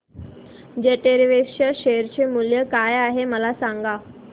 jet Airways च्या share चे मूल्य काय आहे मला सांगा